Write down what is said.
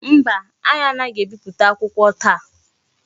Mba, anyi anaghi ebipụta akwụkwọ taa.